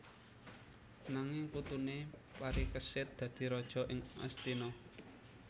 Nanging putuné Parikesit dadi raja ing Astina